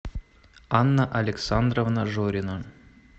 анна александровна жорина